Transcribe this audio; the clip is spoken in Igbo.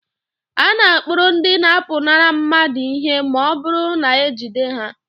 A na-akpụrụ ndị na-apụnara mmadụ ihe ma ọ bụrụ na ejide ha